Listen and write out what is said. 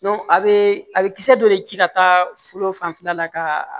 a bɛ a bɛ kisɛ dɔ de ji ka taa foro fanfɛla la ka